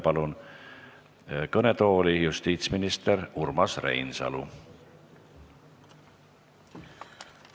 Palun kõnetooli justiitsminister Urmas Reinsalu!